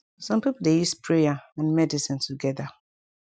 sum pipu dey use prayer and medicine togeda